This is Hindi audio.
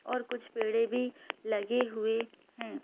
और कुछ पेड़े भी लगे हुए हैं।